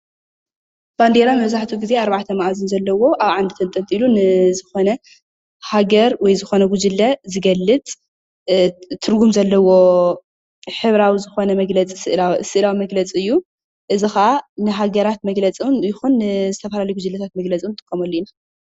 ባንዴራ መብዛሕቲኡ ጊዜ ኣርባዕቲ መኣዝን ዘለዎ ኣብ ዓንዲ ተንጠልጢሉ ንዝኾነ ሃገር ወይ ዝኾነ ጉጅለ ዝገልፅ ትርጉም ዘለዎ ሕብራዊ ዝኾነ ስእላዊ መግለፂ እዩ፡፡ እዚ ከዓ ንሃገራት መግገፂ እውን ይኹን ንዝተፈላለዩ ጉጅለታት መግለፂ ንጥቀመሉ ኢና፡፡